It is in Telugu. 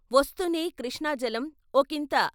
వస్తూనే కృష్ణాజలం వొకింత.